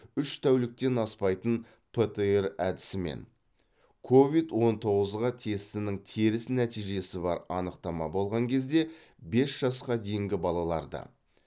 үш тәуліктен аспайтын птр әдісімен ковид он тоғызға тестінің теріс нәтижесі бар анықтама болған кезде бес жасқа дейінгі балаларды